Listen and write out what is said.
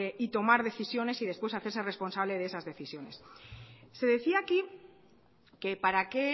y tomar decisiones y después hacerse responsable de esas decisiones se decía aquí que para qué